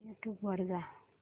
YouTube वर जा